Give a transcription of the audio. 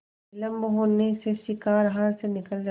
विलम्ब होने से शिकार हाथ से निकल जाता